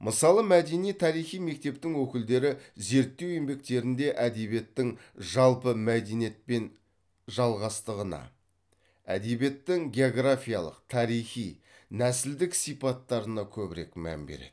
мысалы мәдени тарихи мектептің өкілдері зерттеу еңбектерінде әдебиеттің жалпы мәдениетпен жалғастығына әдебиеттің географиялық тарихи нәсілдік сипаттарына көбірек мән береді